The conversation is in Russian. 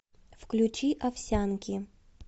включи овсянки